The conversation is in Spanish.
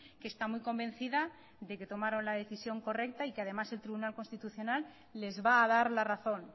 que está muy convencida de que tomaron la decisión correcta y que además el tribunal constitucional les va a dar la razón